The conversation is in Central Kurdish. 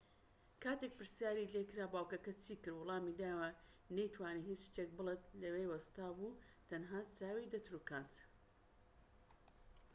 کاتێک پرسیاری لێکرا باوكەکە چی کرد وەڵامی دایەوە نەی توانی هیچ شتێک بڵێت لەوێ وەستا بوو تەنها چاوی دەتروکاند